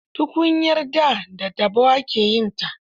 Tukunyar da da taɓo ake yinta.